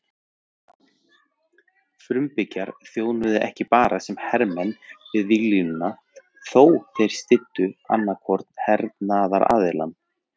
Frumbyggjar þjónuðu ekki bara sem hermenn við víglínuna þótt þeir styddu annan hvorn hernaðaraðilann.